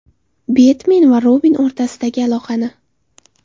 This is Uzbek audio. Betmen va Robin o‘rtasidagi aloqani?